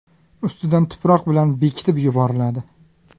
Ustidan tuproq bilan bekitib yuboriladi.